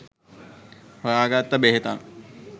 හොයා ගත්ත බෙහෙතක්